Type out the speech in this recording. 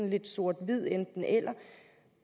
lidt sort hvid enten eller